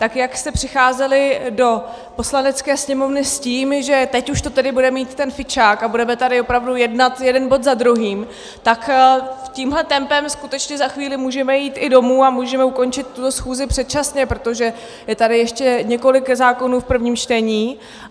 Tak jak jste přicházeli do Poslanecké sněmovny s tím, že teď už to tedy bude mít ten fičák a budeme tady opravdu jednat jeden bod za druhým, tak tímhle tempem skutečně za chvíli můžeme jít i domů a můžeme ukončit tuhle schůzi předčasně, protože je tady ještě několik zákonů v prvním čtení.